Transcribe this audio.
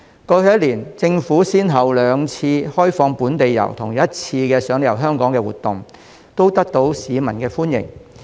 過去一年，政府先後兩次開放本地遊和推出一次"賞你遊香港"活動，它們均得到市民的歡迎。